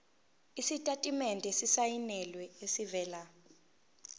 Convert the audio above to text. isitatimende esisayinelwe esivela